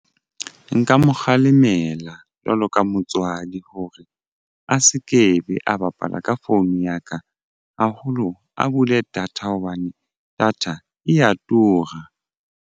Nka mo kgalemela jwalo ka motswadi hore a se ke be a bapala ka phone ya ka haholo a bule data hobane data eya tura.